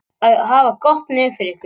Að hafa gott nef fyrir einhverju